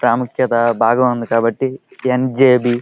ప్రాముఖ్యత బాగుంది కాబట్టి యెన్ _జే _బి --